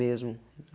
Mesmo.